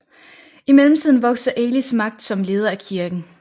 I mellemtiden vokser Elis magt som leder af kirken